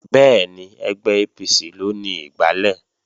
Bẹ́ẹ̀ni, ẹgbẹ́ APC ló ni igbálẹ̀